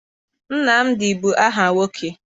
Nnamdị bụ aha nwoke.